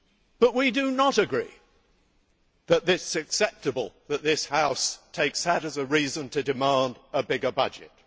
But we do not agree that it is acceptable for this House to take that as a reason to demand a bigger budget.